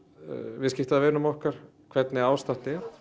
viðskiptavinum okkar hvernig ástatt er